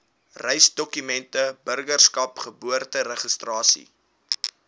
reisdokumente burgerskap geboorteregistrasie